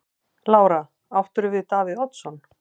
Lára: Áttirðu við Davíð Oddsson?